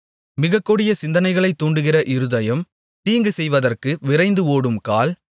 மிகக்கொடிய சிந்தனைகளைத் தூண்டுகின்ற இருதயம் தீங்கு செய்வதற்கு விரைந்து ஓடும் கால்